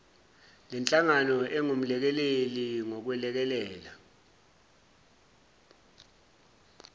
lenhlangano engumelekeleli ngokwelekelela